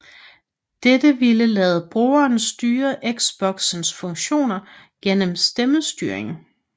Dette vil lade brugere styre Xboxens funktioner igennem stemmestyring